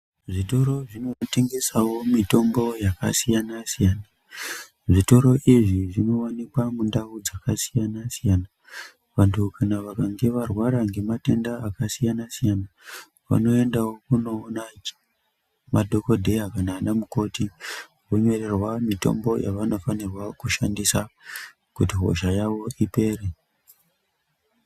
Zvitoro zvinotengesawo mitombo yakasiyana siyana. Zvitoro izvi zvinowanikwa mundau dzakasiyana siyana. Vanttu kana vakange varwara ngematenda akasiyana siyana vanoendawo kunoona madhokodheya kana anamukoti. Vonyorerwa mitombo yevanofanirwa kushandisa kuti hosha yawo ipere.